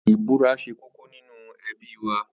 Ìbúra ṣe kókó nínú ẹbí wa.